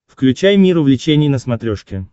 включай мир увлечений на смотрешке